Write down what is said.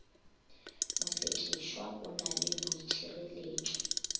mosekišwa o na le boitšhireletšo